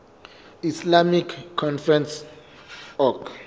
islamic conference oic